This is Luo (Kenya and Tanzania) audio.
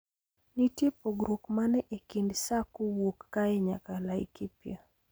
Nitie pogruok mane ekind sa kowuok kae nyaka laikipia